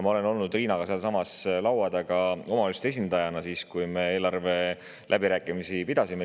Ma olen olnud Riinaga sama laua taga omavalitsuste esindajana, linnade ja valdade liidu nimel, siis, kui me eelarve läbirääkimisi pidasime.